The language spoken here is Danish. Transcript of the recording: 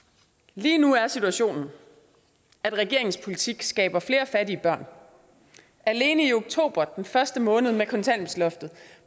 lige nu er situationen at regeringens politik skaber flere fattige børn alene i oktober den første måned med kontanthjælpsloftet